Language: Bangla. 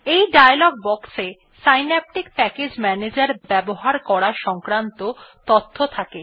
এই ডায়ালগ বক্স এ সিন্যাপটিক প্যাকেজ ম্যানেজার ব্যবহার করা সংক্রান্ত তথ্য থাকে